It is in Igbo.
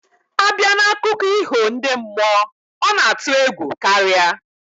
Abia na akụko iho ndi mmuo, ona atu egwu karia